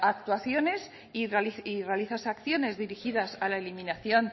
actuaciones y realizas acciones dirigidas a la eliminación